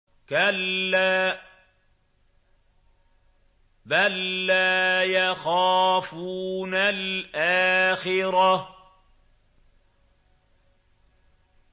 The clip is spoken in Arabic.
كَلَّا ۖ بَل لَّا يَخَافُونَ الْآخِرَةَ